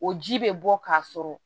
O ji bɛ bɔ ka sɔrɔ